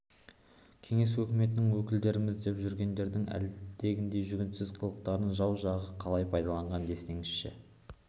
кеңес өкіметінің өкілдеріміз деп жүргендердің әлгіндей жүгенсіз қылықтарын жау жағы қалай пайдаланған десеңізші